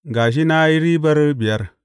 Ga shi, na yi ribar biyar.’